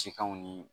Cikanw ni